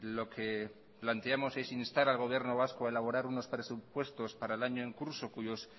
lo que planteamos es instar al gobierno vasco a elaborar unos presupuestos para el año en curso cuyos